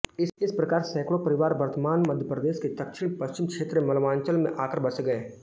इसी प्रकार सैकड़ों परिवार वर्तमान मध्यप्रदेश के दक्षिणप्रश्चिम क्षेत्र मालवांचल में आकर बस गए